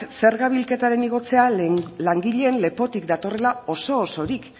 zerga bilketaren igortzea langileen lepotik datorrela oso osorik